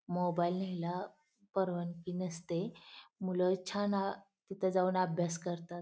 Mobile न्यायला परवानगी नसते मूल छान तिथ जाऊन अभ्यास करतात.